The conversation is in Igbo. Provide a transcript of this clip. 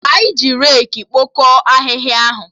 Anyị ji reki kpokọ ahịhịa ahụ